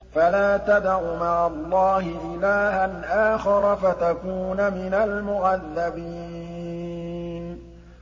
فَلَا تَدْعُ مَعَ اللَّهِ إِلَٰهًا آخَرَ فَتَكُونَ مِنَ الْمُعَذَّبِينَ